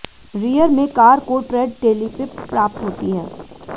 rear में car को ट्रैड टेलिपिप प्राप्त होती है